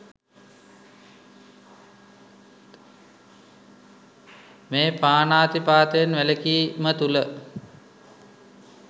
මේ පාණාතිපාතයෙන් වැළකීම තුළ